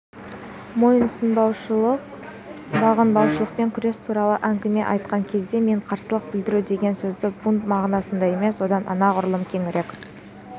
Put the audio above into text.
мойынсұнбаушылықпен бағынбаушылықпен күрес туралы әңгіме айтқан кезде мен қарсылық білдіру деген сөзді бунт мағынасында емес одан анағұрлым кеңірек